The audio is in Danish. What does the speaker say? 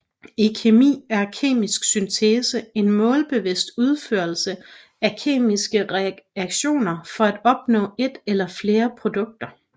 I kemi er kemisk syntese en målbevidst udførelse af kemiske reaktioner for at opnå et eller flere produkter